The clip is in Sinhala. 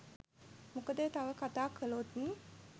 මොකද තව කතා කළොත්